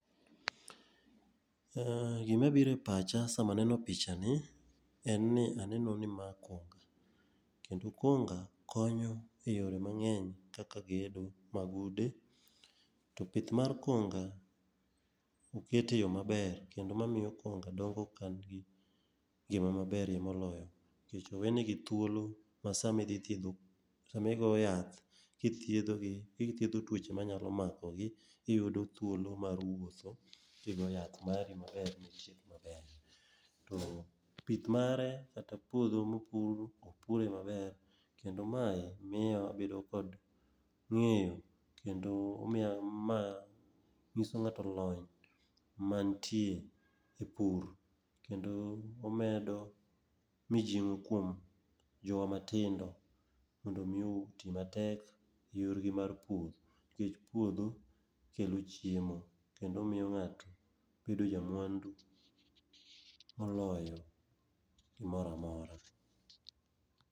Gimabiro e pacha sama aneno picha ni en ni aneno ni ma en konga. kendo konga konyo e yore mang'eny kata gedo mag ude. To pith mar konga oket e yo maber kendo mamiyo kunga dongo ka nigi ngima maber ye moloyo nikech owe nigi thuolo ma sami dhi thiedho, sama igo yath kithiedho gi, kithiedho tuoche manyalo makogi, iyudo thuolo mar wuotho kigo yath mari maber, to pith mare kata puodho mopur, opure maber kendo mae miyo abedo kod ng'eyo kendo omiyo ma ng'iso ng'ato lony manitie e pur, kendo omedo mijing'o kuom jowa matindo mondo omi oti matek e yorgi mar pur, nikech puodho kelo chiemo, kendo miyo ng'ato bedo jamwandu moloyo gimoro amora.